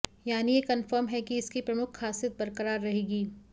यानी यह कन्फर्म है कि इसकी प्रमुख ख़ासियत बरकरार रहेगी